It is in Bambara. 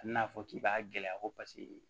A bɛna fɔ k'i b'a gɛlɛya ko paseke